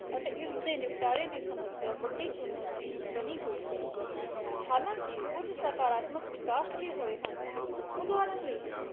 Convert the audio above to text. ਅਤੇ ਇਸਦੇ ਨਿਪਟਾਰੇ ਦੀ ਸਮੱਸਿਆ ਵੱਡੀ ਚੁਣੌਤੀ ਬਣੀ ਹੋਈ ਹੈ ਹਲਾਂਕਿ ਕੁੱਝ ਸਕਰਾਤਮਕ ਵਿਕਾਸ ਵੀ ਹੋਏ ਹਨ, ਉਦਾਹਰਣ ਲਈ